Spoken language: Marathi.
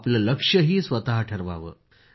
आपलं लक्ष्यही स्वतः ठरवावं